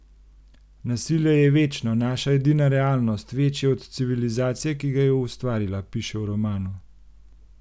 Nasilje je večno, naša edina realnost, večje od civilizacije, ki ga je ustvarila, piše v romanu.